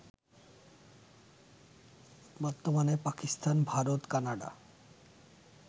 বর্তমানে পাকিস্তান, ভারত, কানাডা